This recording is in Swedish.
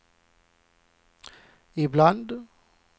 ibland